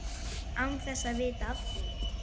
Án þess að vita af því.